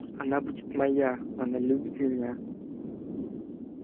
она будет моя она любит меня